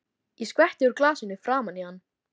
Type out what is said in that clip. Ég skvetti úr glasinu framan í hann.